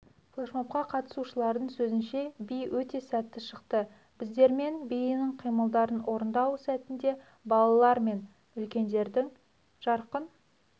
флешмобқа қатысушылардың сөзінше би өте сәтті шықты біздермен биінің қимылдарын орындау сәтінде балалар мен үлкендердің жарқын